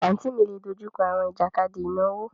Àǹtí mi lè dojú kọ àwọn ìjàkadì ìnáwó.